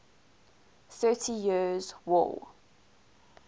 thirty years war